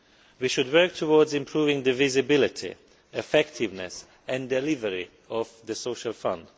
We should work towards improving the visibility, effectiveness and delivery of the Social Fund.